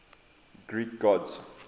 greek gods